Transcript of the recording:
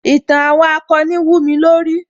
Ìtàn àwọn akọni wúmi lórí